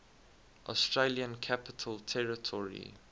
australian capital territory